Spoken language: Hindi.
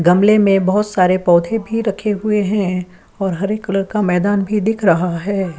गमले में बहुत सारे पौधे भी रखे हुए है और हरे कलर का मैदान भी दिख रहा हैं।